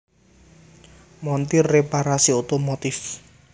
Montir Reparasi Otomotif